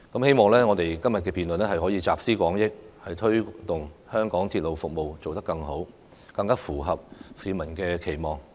希望我們今天的辯論能夠集思廣益，推動香港鐵路服務做得更好，更符合市民的期望。